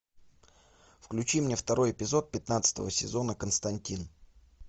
включи мне второй эпизод пятнадцатого сезона константин